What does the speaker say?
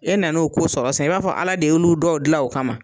E nana o ko sɔrɔ san i b'a fɔ ala de y'olu dɔw gilan q kama.